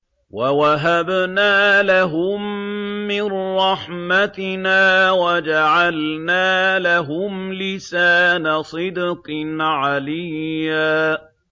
وَوَهَبْنَا لَهُم مِّن رَّحْمَتِنَا وَجَعَلْنَا لَهُمْ لِسَانَ صِدْقٍ عَلِيًّا